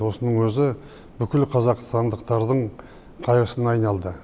осының өзі бүкіл қазақстандықтардың қайғысына айналды